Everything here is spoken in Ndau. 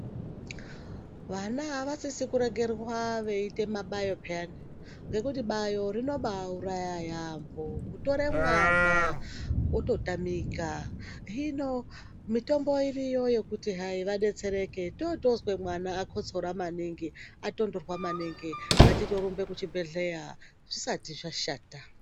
Vana avasisi kuregerwa veiite mabayo peyani ngekuti bayo rinobaauraya yaamho kutore mwana ototamika hino mitombo iriyo yekuti hai vadetsereke. Toondozwe mwana akotsora maningi atonhorwa maningi ngatitorumbe kuchibhedhlera zvisati zvashata.